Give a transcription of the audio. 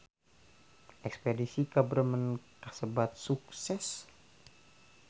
Espedisi ka Bremen kasebat sukses